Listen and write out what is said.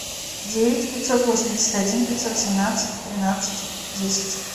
девять пятьсот восемьдесят один пятьсот семнадцать тринадцать десять